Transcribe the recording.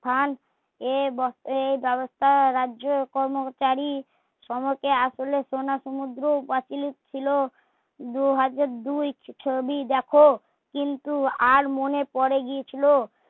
স্থান এব এ ব্যাবস্থা রাজ্য কর্মচারী সমকে আসলে খোলে সমুদ্র বাতিল ছিলো দু হাতে দেখো কিন্তু আর মনে পড়েগিয়েছিলো